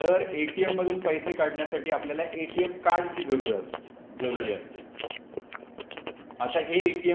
तर एटीएम मधून पैसे काढण्यासाठी आपल्याला एटीएम कार्डची जरूर असते. जरुरी असते. आता हे एटीएम